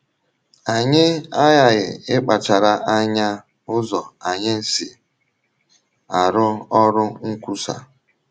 Anyị aghaghị ịkpachara anya ụzọ anyị si arụ ọrụ nkwusa.